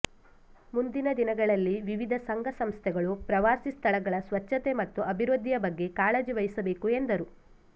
ಮುಂದಿನ ದಿನಗಳಲ್ಲಿ ವಿವಿಧ ಸಂಘ ಸಂಸ್ಥೆಗಳು ಪ್ರವಾಸಿ ಸ್ಥಳಗಳ ಸ್ವಚ್ಚತೆ ಮತ್ತು ಅಭಿವೃದ್ಧಿಯ ಬಗ್ಗೆ ಕಾಳಜಿ ವಹಿಸಬೇಕು ಎಂದರು